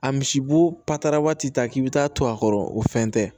A misiboo patara waati ta k'i bi taa to a kɔrɔ o fɛn tɛ